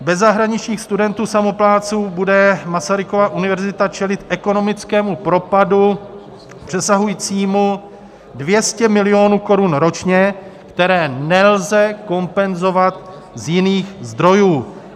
Bez zahraničních studentů samoplátců bude Masarykova univerzita čelit ekonomickému propadu přesahujícími 200 milionů korun ročně, které nelze kompenzovat z jiných zdrojů.